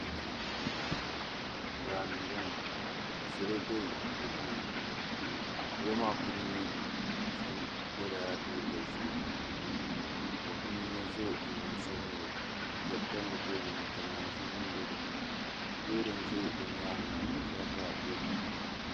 Daani n boŋo ka salo bɛ di puuni salo maa puuni shab yɛla liiga ʒiɛ ka bi yino so jinjɛm sabinli ka piɛri tam bi tooni ka naanzuu nim bɛ di puuni loori n ʒɛ bi nyaangi ŋo ka tirata bɛ di puuni